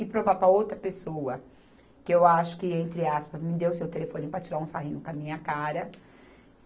E provar para a outra pessoa que eu acho que, entre aspas, me deu o seu telefone para tirar um sarrinho com a minha cara.